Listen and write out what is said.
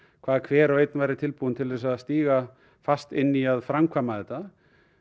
hvað hver og einn væri tilbúinn til þess að stíga fast inn í að framkvæma þetta